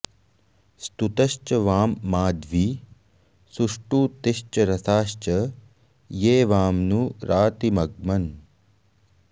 स्तुत॑श्च वां माध्वी सुष्टु॒तिश्च॒ रसा॑श्च॒ ये वा॒मनु॑ रा॒तिमग्म॑न्